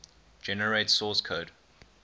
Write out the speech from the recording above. generate source code